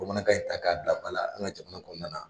Bamanankan in ta k'a bila ba la an ka jamana kɔnɔna na.